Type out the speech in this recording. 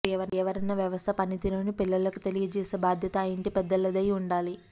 పర్యావరణ వ్యవస్థ పనితీరును పిల్లలకు తెలియజేసే బాధ్యత ఆ ఇంటి పెద్దలదై ఉండాలి